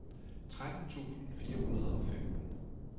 tretten tusind fire hundrede og femten